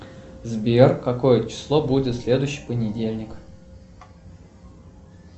сбер какое число будет в следующий понедельник